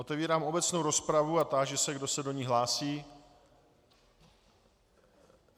Otevírám obecnou rozpravu a táži se, kdo se do ní hlásí.